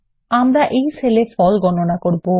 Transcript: আমরা এই সেল এ ফল গণনা করব